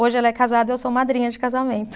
Hoje ela é casada e eu sou madrinha de casamento.